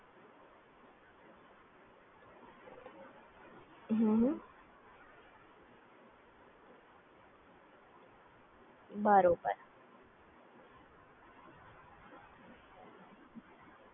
બરોબર